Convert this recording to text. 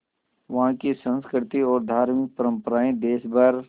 वहाँ की संस्कृति और धार्मिक परम्पराएं देश भर